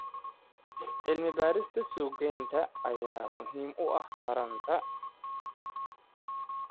Cilmi-baarista suuq-geynta ayaa muhiim u ah taranta.